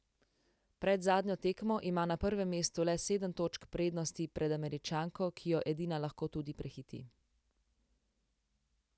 Pred zadnjo tekmo ima na prvem mestu le sedem točk prednosti pred Američanko, ki jo edina lahko tudi prehiti.